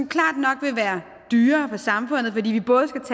klart nok være dyrere for samfundet fordi vi både skal